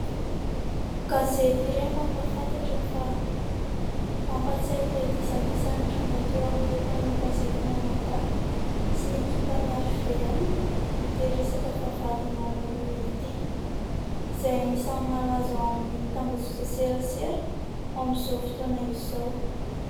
Gazety iray mampahafantatra fa, mampatsiahy ilay disadisa nitranga teo amin'ireo mpanao gazety mianadahy sy ny ekipan'ny HVM ity resaka vavahadin'i maman'i Lova ity. Izay anisan'ny malaza ao amin'ny tambazotran-tserasera amin'izao fotoana izao.